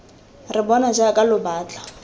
re bona jaaka lo batla